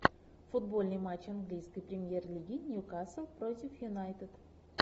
футбольный матч английской премьер лиги ньюкасл против юнайтед